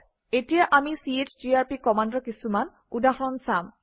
এতিয়া আমি চিজিআৰপি কমাণ্ডৰ কিছুমান উদাহৰণ চাম